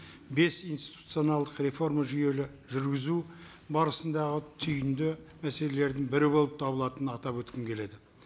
бес институционалдық реформа жүйелі жүргізу барысындағы түйінді мәселелердің бірі болып табылатынын атап өткім келеді